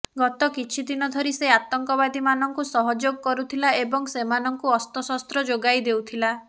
ଗତ କିଛି ଦିନ ଧରି ସେ ଆତଙ୍କବାଦୀମାନଙ୍କୁ ସହଯୋଗ କରୁଥିଲା ଏବଂ ସେମାନଙ୍କୁ ଅସ୍ତଶସ୍ତ୍ର ଯୋଗାଇଦେଉଥିଲା